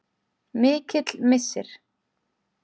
Mikill missir.